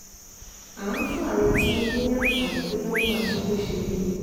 a ń fún ààrẹ tinubu ní àǹfààní bóyá ó máa ṣe bó ṣe wí ni